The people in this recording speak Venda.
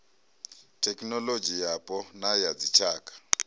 thekinolodzhi yapo na ya dzitshaka